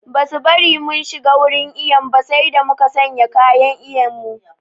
Ba su bari mun shiga wurin iyon ba sai da muka sanya kayan iyon mu